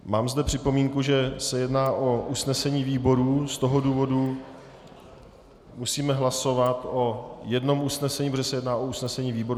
Mám zde připomínku, že se jedná o usnesení výboru, z toho důvodu musíme hlasovat o jednom usnesení, protože se jedná o usnesení výboru.